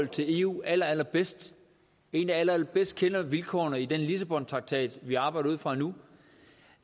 til eu allerallerbedst en der allerallerbedst kender vilkårene i den lissabontraktat vi arbejder ud fra nu